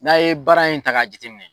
N'a ye baara in ta ka jate minɛ